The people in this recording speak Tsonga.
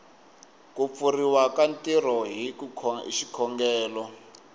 kupfuriwa ka ntirho hi xikongelo